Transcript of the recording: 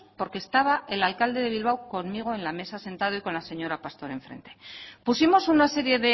porque estaba el alcalde de bilbao conmigo en la mesa sentado y con la señora pastor enfrente pusimos una serie